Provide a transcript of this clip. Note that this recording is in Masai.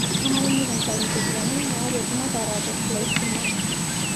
Kenare nikintayu ncheriani naaretu maatarare laisimak.